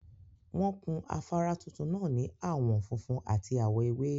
Won kun afara tuntun naa ni awon funfun at awo ewe